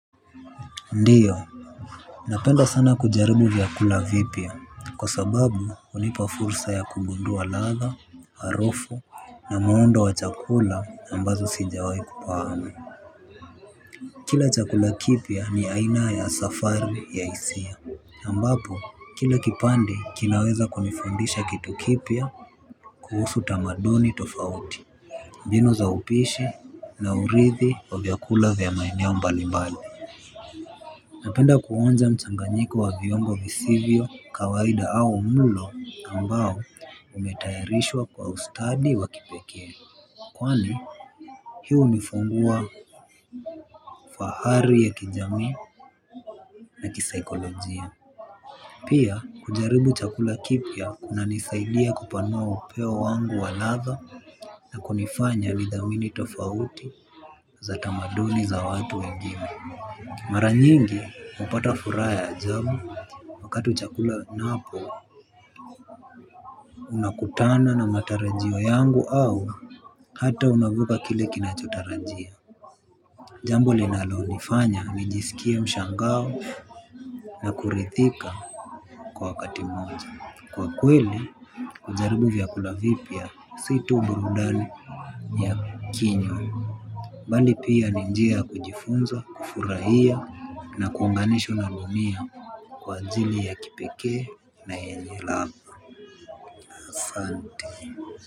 Ndiyo, napenda sana kujaribu vyakula vipya, kwa sababu hunipa fursa ya kugundua ladha, harufu na muundo wa chakula ambazo sijawai kufahamu. Kila chakula kipya ni aina ya safari ya hisia, ambapo kila kipande kinaweza kunifundisha kitu kipya kuhusu tamaduni tofauti, mbinu za upishi na urithi wa vyakula vya maeneo mbalimbali. Napenda kuonja mchanganyiko wa viungo visivyo kawaida au mlo ambao umetayarishwa kwa ustadi wa kipekee. Kwani hii hunifungua fahari ya kijamii na kisaikolojia. Pia kujaribu chakula kipya kunanisaidia kupanua upeo wangu wa ladha na kunifanya nithamini tofauti za tamaduni za watu wengine. Mara nyingi napata furaha ya ajabu. Wakati chakula napo unakutana na matarajio yangu au hata unavuka kile kinachotarajia. Jambo linalonifanya nijisikie mshangao na kuridhika kwa wakati moja. Kwa kweli hujaribu vyakula vipya si tu burudani ya kinywa bali pia ni njia ya kujifunza, kufurahia na kuunganishwa na dunia. Kwa ajili ya kipekee na yenye ladha asante.